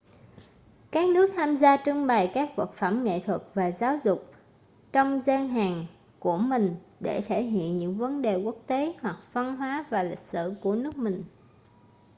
các nước tham gia trưng bày các vật phẩm nghệ thuật và giáo dục trong gian hàng của mình để thể hiện những vấn đề quốc tế hoặc văn hóa và lịch sử của nước mình